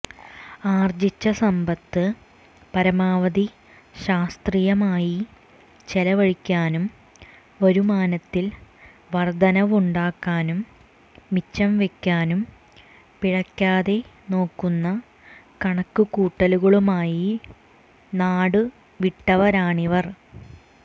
ആർജിച്ച സമ്പത്ത് പരമാവധി ശാസ്ത്രീയമായി ചെലവഴിക്കാനും വരുമാനത്തിൽ വർധനവുണ്ടാക്കാനും മിച്ചം വെക്കാനും പിഴക്കാതെ നോക്കുന്ന കണക്കുകൂട്ടലുകളുമായി നാടു വിട്ടവരാണിവർ